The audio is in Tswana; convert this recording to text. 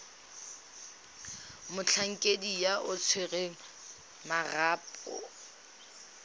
motlhankedi yo o tshwereng marapo